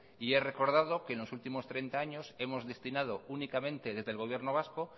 y he recordado que en los últimos treinta años hemos destinado únicamente desde el gobierno vasco